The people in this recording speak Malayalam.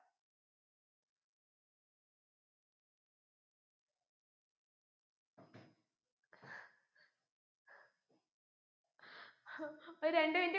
ഒരു രണ്ട് minute